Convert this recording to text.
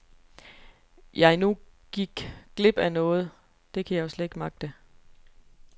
Jeg nu gik glip af noget, det kan jeg jo slet ikke magte.